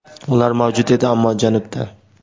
Ular mavjud edi, ammo janubda.